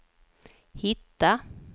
hitta